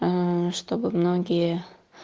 аа чтобы многие